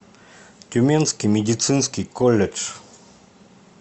тюменский медицинский колледж